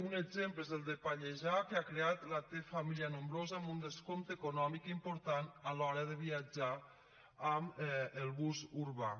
un exemple n’és el de pallejà que ha creat la t família nombrosa amb un descompte econòmic important a l’hora de viatjar amb el bus urbà